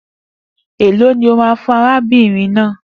E lọ ni ó ma fún arábìnrin náà?